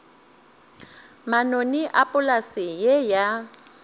manoni a polase ye ya